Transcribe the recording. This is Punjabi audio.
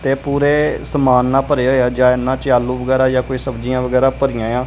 ਤੇ ਪੂਰੇ ਸਮਾਨ ਨਾਲ ਭਰਿਆ ਹੋਇਆ ਹੈ ਜਾ ਇਹਨਾਂ ਚ ਆਲੂ ਵਗੈਰਾ ਜਾ ਕੋਈ ਸਬਜੀਆਂ ਵਗੈਰਾ ਭਰੀਆ ਆ।